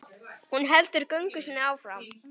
Hún heldur göngu sinni áfram.